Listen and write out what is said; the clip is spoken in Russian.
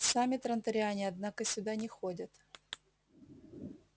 сами транториане однако сюда не ходят